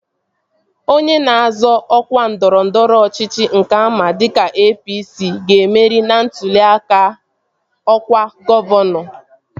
Onye na-azọ ọkwa ndọrọndọrọ ọchịchị nke ama dịka APC, ga-emeri ntụli aka ọkwa gọvanọ